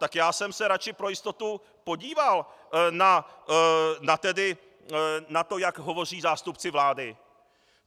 Tak já jsem se radši pro jistotu podíval na to, jak hovoří zástupci vlády.